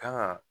Kan ga